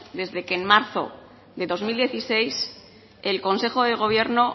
desde que en marzo de dos mil dieciséis el consejo de gobierno